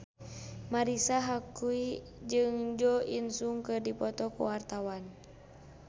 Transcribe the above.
Marisa Haque jeung Jo In Sung keur dipoto ku wartawan